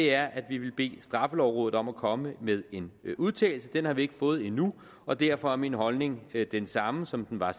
er at vi vil bede straffelovrådet om at komme med en udtalelse den har vi ikke fået endnu og derfor er min holdning den samme som den var